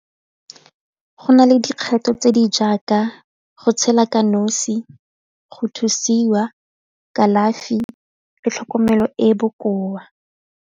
Go na le dikgetho tse di jaaka go tshela ka nosi, go thusiwa, kalafi le tlhokomelo e e bokoa.